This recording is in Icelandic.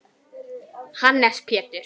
Hannes Pétur.